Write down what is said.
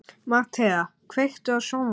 Mattea, kveiktu á sjónvarpinu.